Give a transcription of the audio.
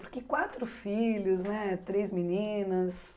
Porque quatro filhos né, três meninas.